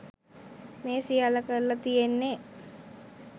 මේ සියල්ල කරල තියෙන්නෙ.